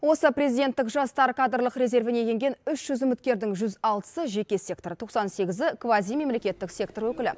осы президенттік жастар кадрлық резервіне енген үш жүз үміткердің жүз алтысы жеке сектор тоқсан сегізі квазимемлекеттік сектор өкілі